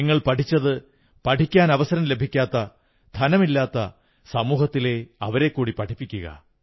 നിങ്ങൾ പഠിച്ചതു പഠിക്കാൻ അവസരം ലഭിക്കാത്ത സമൂഹത്തിലെ ധനമില്ലാത്തവരെക്കൂടി പഠിപ്പിക്കുക